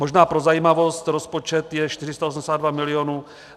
Možná pro zajímavost, rozpočet je 482 milionů.